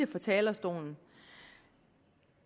fra talerstolen at